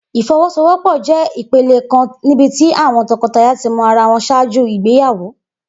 Ifowosowopo jẹ ipele kan nibiti àwọn tọkọtaya ti mọ ara wọn ṣaaju igbeyawo.